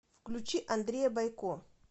включи андрея бойко